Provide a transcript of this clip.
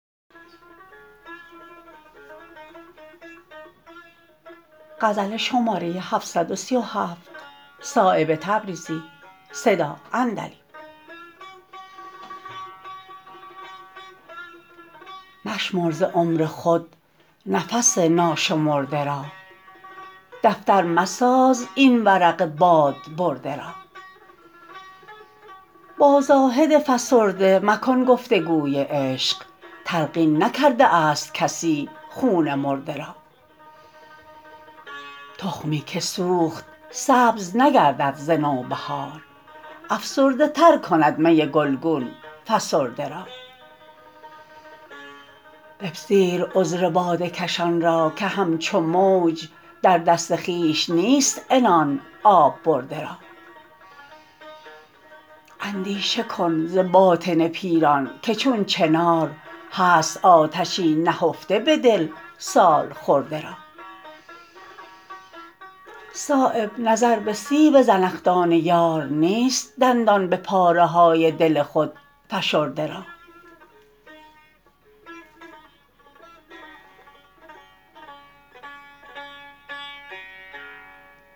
مشمر ز عمر خود نفس ناشمرده را دفتر مساز این ورق باد برده را با زاهد فسرده مکن گفتگوی عشق تلقین نکرده است کسی خون مرده را تخمی که سوخت سبز نگردد ز نوبهار افسرده تر کند می گلگون فسرده را بپذیر عذر باده کشان را که همچو موج در دست خویش نیست عنان آب برده را اندیشه کن ز باطن پیران که چون چنار هست آتشی نهفته به دل سالخورده را صایب نظر به سیب زنخدان یار نیست دندان به پاره های دل خود فشرده را